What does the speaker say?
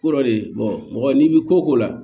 Ko dɔ de mɔgɔ n'i bɛ ko ko la